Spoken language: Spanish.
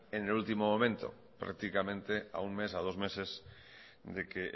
en el último momento prácticamente a un mes a dos meses de que